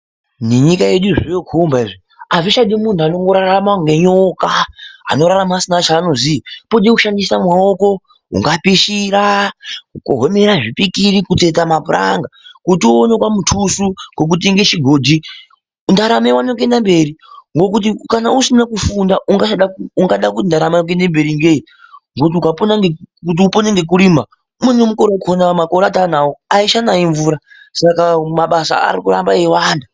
Nenyika yedu zvoyokhomba izvi azichadi muntu unorarama kunge Nyoka, anorarama asina zvaanoziya kunoda kuona zvekuita kushandisa maoko kunoda kupishira, kutsetsa mapuranga kuti auone kamutusu kekuti utenge chigodhi. Ngekuti kana usina kufunda unoda kurarama ngei ngekuti mvura aichanayi saka mabasa arikuramba echiwanda